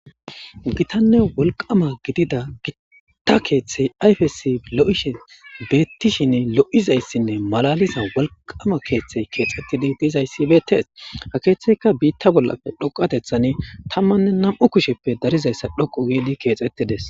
gitanne wolqama gidida gitta keeththey ayfesi lo'ishe beettishin lo7izayssinne malaliza wolqama keeththey keexxettidi diizayssi beettees ha keeththeyka biitta bollappe dhoqatethan tammanne nam'u kusheppe darizayssa dhoqu geidi keexxettides